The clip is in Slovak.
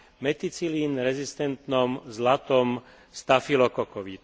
meticilín rezistentnom zlatom stafylokokovi.